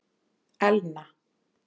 Elna